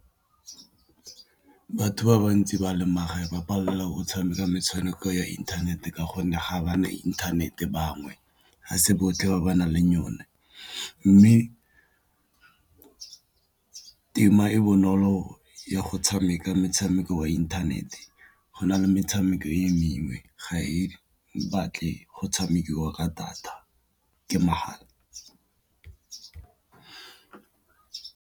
Batho ba bantsi ba leng magaeng ba palelwa ke go tshameka metshameko ya inthanete ka gonne ga ba na inthanete bangwe, ga se botlhe ba ba nang le yone, mme tema e bonolo ya go tshameka metshameko wa inthanete go na le metshameko e mengwe ga e batle go tshamekiwa ka data ke mahala.